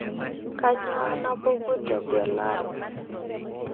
kanyoo napuku te gelare